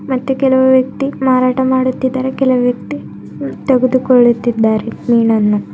ಮತ್ತು ಕೆಲವು ವ್ಯಕ್ತಿ ಮಾರಾಟ ಮಾಡುತ್ತಿದ್ದಾರೆ ಕೆಲವು ವ್ಯಕ್ತಿ ತೆಗೆದುಕೊಳ್ಳುತ್ತಿದ್ದಾರೆ ಮೀನನ್ನು.